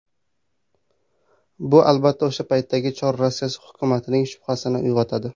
Bu, albatta, o‘sha paytdagi Chor Rossiyasi hukumatining shubhasini uyg‘otadi.